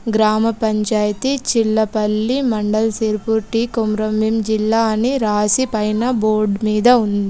గ్రామపంచాయతీ Chillapalli mandal Sirpur T Komram Bheem జిల్లా అని రాసి పైన బోర్డ్ మీద ఉంది.